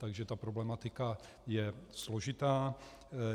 Takže ta problematika je složitá.